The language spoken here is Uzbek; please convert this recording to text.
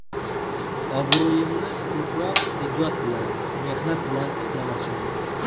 Obro‘yimni ko‘proq ijod bilan, mehnat bilan tiklamoqchiman.